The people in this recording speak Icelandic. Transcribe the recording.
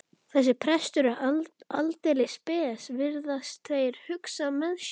Þessi prestur er aldeilis spes, virðast þeir hugsa með sér.